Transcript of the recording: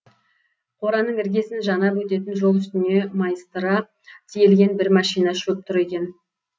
қораның іргесін жанап өтетін жол үстіне майыстыра тиелген бір машина шөп тұр екен